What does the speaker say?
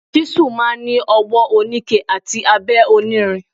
Ṣísù máa ń ni ọwọ oníke àti abẹ onírin.